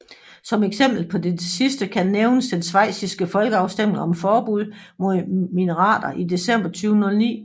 Som eksempel på dette sidste kan nævnes den schweiziske folkeafstemning om forbud mod minareter i december 2009